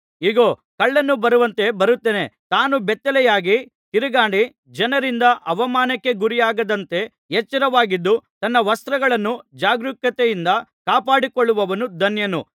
ಇಗೋ ಕಳ್ಳನು ಬರುವಂತೆ ಬರುತ್ತೇನೆ ತಾನು ಬೆತ್ತಲೆಯಾಗಿ ತಿರುಗಾಡಿ ಜನರಿಂದ ಅವಮಾನಕ್ಕೆ ಗುರಿಯಾಗದಂತೆ ಎಚ್ಚರವಾಗಿದ್ದು ತನ್ನ ವಸ್ತ್ರಗಳನ್ನು ಜಾಗರೂಕತೆಯಿಂದ ಕಾಪಾಡಿಕೊಳ್ಳುವವನು ಧನ್ಯನು